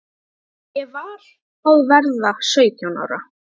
Ég var að verða sautján ára.